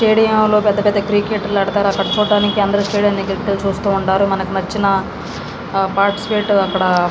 Stadium లో పెద్ద పెద్ద క్రికెట లు పెడతారు. అక్కడ చూడడానికి అందరూ స్టెడియం దెగ్గరికి వెళ్ళి చూస్తూ ఉంటారు. మనకు నచ్చిన పాటిసిపేట్ అక్కడ --